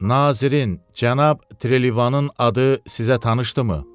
Nazirin, cənab Trelivanın adı sizə tanışdımı?